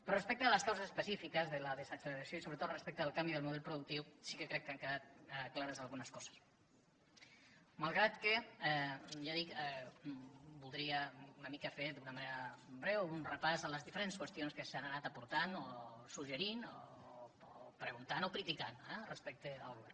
però respecte a les causes específiques de la desacceleració i sobretot respecte al canvi del model productiu sí que crec que han quedat clares algunes coses malgrat que ja dic voldria una mica fer d’una manera breu un repàs de les diferents qüestions que s’han anat aportant o suggerint o preguntant o criticant eh respecte al govern